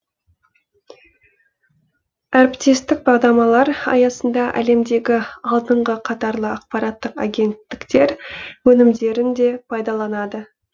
әріптестік бағдарламалар аясында әлемдегі алдыңғы қатарлы ақпараттық агенттіктер өнімдерін де пайдаланады